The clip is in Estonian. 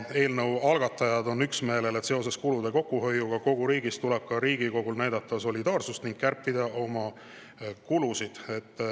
Eelnõu algatajad on üksmeelel, et seoses kulude kokkuhoiuga kogu riigis tuleb ka Riigikogul näidata solidaarsust ja kärpida oma kulusid.